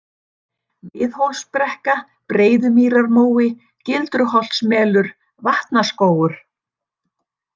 Miðhólsbrekka, Breiðumýrarmói, Gildruholtsmelur, Vatnaskógur